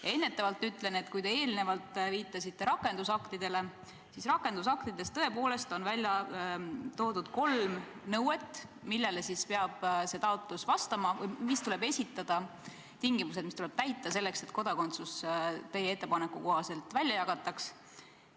Ja ennetavalt ütlen, et kui te eelnevalt viitasite rakendusaktidele, siis rakendusaktides on tõepoolest välja toodud kolm nõuet, millele esitatav taotlus peab vastama, tingimused, mis tuleb täita selleks, et kodakondsust teie ettepaneku kohaselt jagataks.